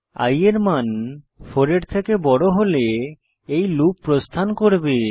i এর মান 4 এর থেকে বড় হলে এই লুপ প্রস্থান করবে